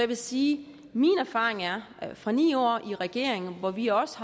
vil sige at min erfaring fra ni år i regering hvor vi også